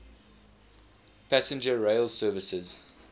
passenger rail services